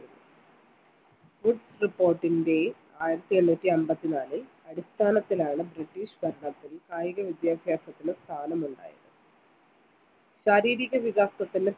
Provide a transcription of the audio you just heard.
report ൻറെ ആയിരത്തി എണ്ണൂറ്റി അമ്പത്തി നാല് അടിസ്ഥാനത്തിലാണ് british ഭരണത്തിൽ കായിക വിദ്യാഭ്യാസത്തിന് സ്ഥാനം ഉണ്ടായത് ശാരീരിക വികാസത്തിന്